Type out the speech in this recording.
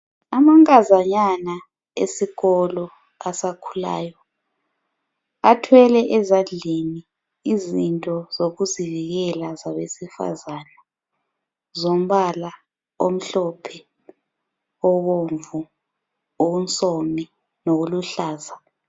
Amankazanyana esikolo asakhulayo, athwele ezandleni izinto zokuzivikela zabesifazana zombala omhlophe, obomvu, onsomi lokuluhlaza.